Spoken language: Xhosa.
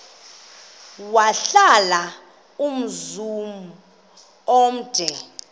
wahlala umzum omde